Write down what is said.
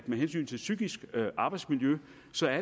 med hensyn til psykisk arbejdsmiljø